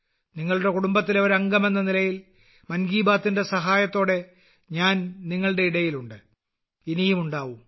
നിങ്ങളുടെ കുടുംബത്തിലെ ഒരു അംഗമെന്ന നിലയിൽ മൻ കി ബാത്തിന്റെ സഹായത്തോടെ ഞാൻ നിങ്ങളുടെ ഇടയിൽ ഉണ്ട് ഇനിയും ഉണ്ടാവും